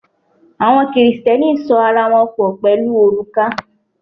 Àwọn Kristẹni sọ ara wọn pọ̀n pẹ̀lú òrùka.